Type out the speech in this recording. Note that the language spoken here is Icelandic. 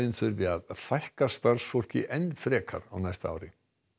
þurfi að fækka starfsfólki enn frekar á næsta ári